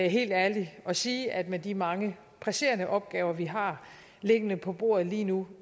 helt ærlig og sige at med de mange presserende opgaver vi har liggende på bordet lige nu